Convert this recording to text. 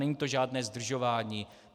Není to žádné zdržování.